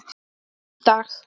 En ekki í dag?